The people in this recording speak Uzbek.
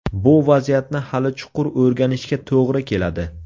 Bu vaziyatni hali chuqur o‘rganishga to‘g‘ri keladi.